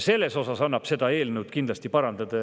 Selles mõttes annab seda eelnõu kindlasti parandada.